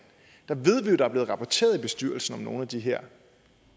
hvor ved at der er blevet rapporteret til bestyrelsen om nogle af de her